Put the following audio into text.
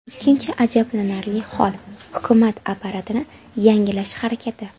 Ikkinchi ajablanarli hol, hukumat apparatini yangilash harakati.